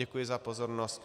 Děkuji za pozornost.